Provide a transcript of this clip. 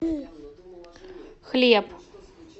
хлеб